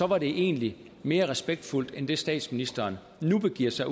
var det egentlig mere respektfuldt end det statsministeren nu begiver sig